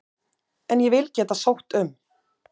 En ég vil geta sótt um.